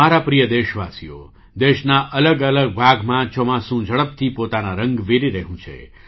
મારા પ્રિય દેશવાસીઓ દેશના અલગ અલગ ભાગમાં ચોમાસુ ઝડપથી પોતાના રંગ વેરી રહ્યું છે